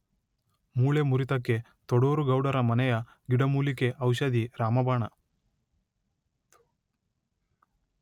ಮೂಳೆ ಮುರಿತಕ್ಕೆ ತೊಡೂರು ಗೌಡರ ಮನೆಯ ಗಿಡಮೂಲಿಕೆ ಔಷಧಿ ರಾಮಬಾಣ.